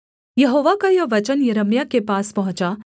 यहोवा का यह वचन यिर्मयाह के पास पहुँचा